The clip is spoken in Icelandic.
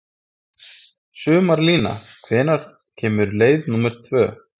Sumarlína, hvenær kemur leið númer tvö?